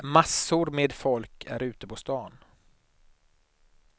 Massor med folk är ute på stan.